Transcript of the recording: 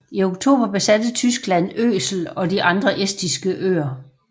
I oktober besatte Tyskland Øsel og de andre estiske øer